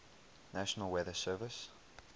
national weather service